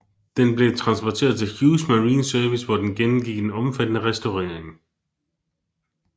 Den blev transporteret til Hughes Marine Service hvor den gennemgik en omfattende restaurering